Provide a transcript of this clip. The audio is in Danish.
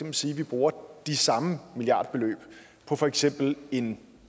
at sige at vi bruger de samme milliardbeløb på for eksempel en